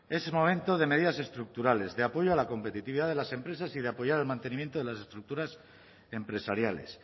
es momento de medidas estructurales de apoyo a la competitividad de las empresas y de apoyar el mantenimiento de las estructuras empresariales